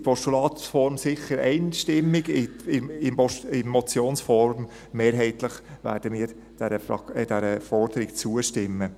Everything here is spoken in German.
In Postulatsform sicher einstimmig, in Motionsform mehrheitlich werden wir dieser Forderung sicher zustimmen.